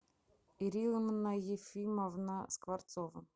ирина ефимовна скворцова